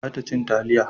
Ba ta cin taliya